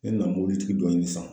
Ne na mobilitigi dɔ ɲini sisan.